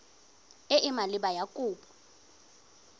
e e maleba ya kopo